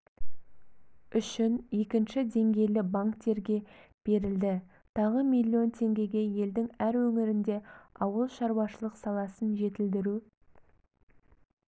үшін екінші деңгейлі банктерге берілді тағы млн теңгеге елдің әр өңірінде ауыл шаруашылық саласын жетілдіру